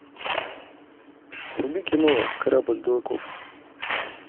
вруби кино корабль дураков